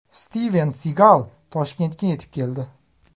Stiven Sigal Toshkentga yetib keldi .